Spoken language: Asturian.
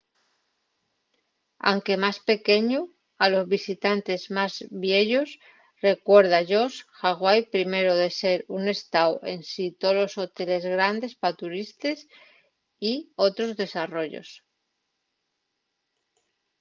anque más pequeñu a los visitantes más vieyos recuérda-yos hawaii primero de ser un estáu ensin tolos hoteles grandes pa turistes y otros desarrollos